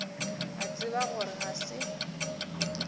a tseba gore ga se